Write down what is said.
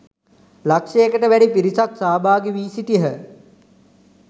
ලක්ෂයකට වැඩි පිරිසක් සහභාගි වී සිටියහ